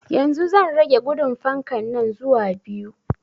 Yanzu zan rage gudun fankan nan zuwa biyu